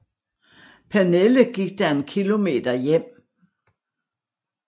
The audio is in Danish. Pernille gik da en kilometer hjem